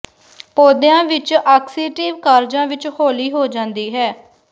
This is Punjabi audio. ਪੌਦਿਆਂ ਵਿਚ ਆਕਸੀਟਿਵ ਕਾਰਜਾਂ ਵਿਚ ਹੌਲੀ ਹੋ ਜਾਂਦੀ ਹੈ